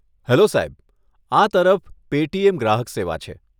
Hello સાહેબ, આ તરફ પેટીએમ ગ્રાહક સેવા છે.